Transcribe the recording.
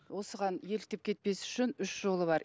осыған еліктеп кетпес үшін үш жолы бар